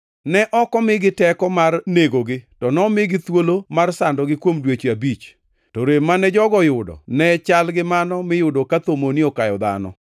Ne ok omigi teko mar negogi to nomigi thuolo mar sandogi kuom dweche abich. To rem mane jogo oyudo ne chalgi mano miyudo ka thomoni okayo dhano.